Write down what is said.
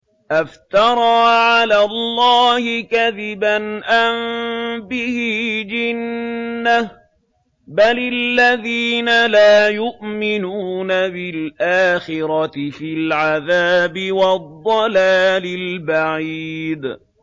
أَفْتَرَىٰ عَلَى اللَّهِ كَذِبًا أَم بِهِ جِنَّةٌ ۗ بَلِ الَّذِينَ لَا يُؤْمِنُونَ بِالْآخِرَةِ فِي الْعَذَابِ وَالضَّلَالِ الْبَعِيدِ